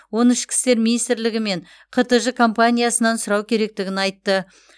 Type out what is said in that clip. оны ішкі істер миинстрігі мен қтж компаниясынан сұрау керектігін айтты